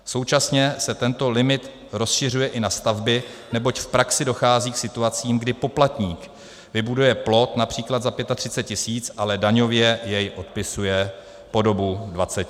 Současně se tento limit rozšiřuje i na stavby, neboť v praxi dochází k situacím, kdy poplatník vybuduje plot, například za 35 000, ale daňově jej odpisuje po dobu 20 let.